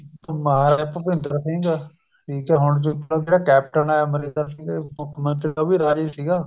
ਮਹਾਰਾਜਾ ਭੁਪਿੰਦਰ ਸਿੰਘ ਠੀਕ ਆ ਹੁਣ ਕੈਪਟਨ ਏ ਅਮਰਿੰਦਰ ਸਿੰਘ ਮੁੱਖ ਮੰਤਰੀ ਉਹ ਵੀ ਰਾਜਾ ਹੀ ਸੀਗਾ